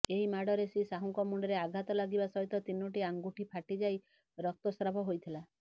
ଏହି ମାଡ଼ରେ ଶ୍ରୀ ସାହୁଙ୍କ ମୁଣ୍ଡରେ ଆଘାତ ଲାଗିବା ସହିତ ତିନୋଟି ଅଙ୍ଗୁଠି ଫାଟିଯାଇ ରକ୍ତସ୍ରାବ ହୋଇଥିଲା